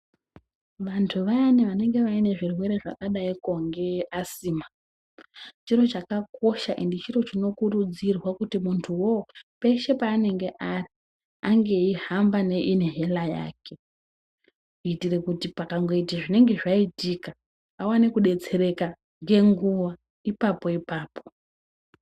Vantu vayani vanenge vane zvirwere zvakadaiko nge Asima, chiro chakakosha ende chiro chinokurudzirwa kuti munhtu uwowo peshe pavanenge ari ange eihamba neinihela yake, kuitire kuti pakangoita zvinenge zvaitika awane kudetsereka ngenguwa, ipapo ipapo.